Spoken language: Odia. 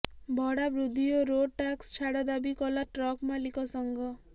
ଭଡା ବୃଦ୍ଧି ଓ ରୋଡ୍ ଟାକ୍ସ ଛାଡ ଦାବି କଲା ଟ୍ରକ ମାଲିକ ସଂଘ